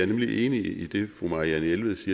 nemlig enig i det fru marianne jelved